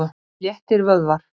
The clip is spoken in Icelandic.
Sléttir vöðvar.